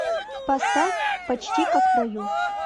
поставь почти как в раю